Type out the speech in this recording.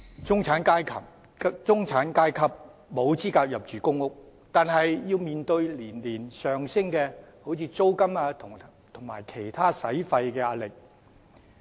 "中產階級沒有資格入住公屋，卻要面對年年上升的租金及其他支出的壓力。